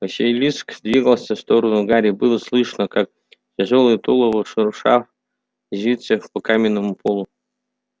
василиск двигался в сторону гарри было слышно как тяжёлое тулово шурша резвится по каменному полу